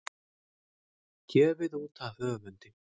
Gefið út af höfundi.